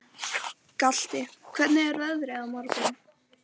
Galti, hvernig er veðrið á morgun?